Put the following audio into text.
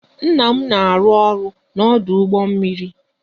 Nna m na arụ-ọrụ n'ọdụ ụgbọ mmiri